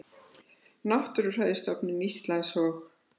Náttúrufræðistofnun Íslands og